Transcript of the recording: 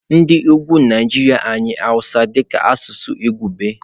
N'ebe ugwu Naijiria anyị Hausa dị ka asụsụ izugbe.